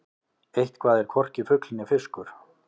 Eitthvað er hvorki fugl né fiskur